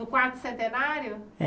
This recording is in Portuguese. No quarto centenário? É